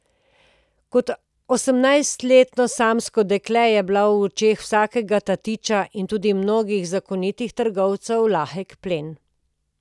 Kot osemnajstletno samsko dekle je bila v očeh vsakega tatiča in tudi mnogih zakonitih trgovcev lahek plen.